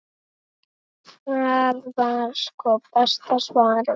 Það var sko besta svarið.